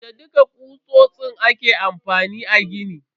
Da dukka kutsotsin aka yi amfani a gini.